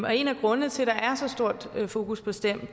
og en af grundene til at der så stort fokus på stem